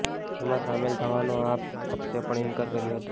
એમાં સામેલ થવાનો આપ પક્ષે પણ ઇનકાર કર્યો હતો